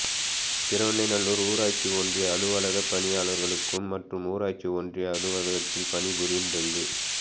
திருவெண்ணெய்நல்லுார் ஊராட்சி ஒன்றிய அலுவலக பணியாளர்களுக்கும் மற்றும் ஊராட்சி ஒன்றிய அலுவலகத்தில் பணிபுரியும் டெங்கு